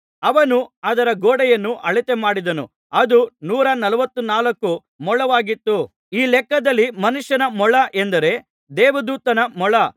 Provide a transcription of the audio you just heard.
ಅವನು ಅದರ ಗೋಡೆಯನ್ನು ಅಳತೆ ಮಾಡಿದನು ಅದು ನೂರನಲ್ವತ್ತು ನಾಲ್ಕು ಮೊಳವಾಗಿತ್ತು ಈ ಲೆಕ್ಕದಲ್ಲಿ ಮನುಷ್ಯನ ಮೊಳ ಎಂದರೆ ದೇವದೂತನ ಮೊಳ